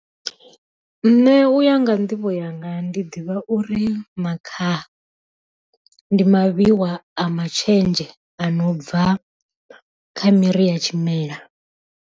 Nṋe uya nga nḓivho yanga ndi ḓivha uri makhaha ndi mavhiwa a matshenzhe ano bva kha miri ya tshimela.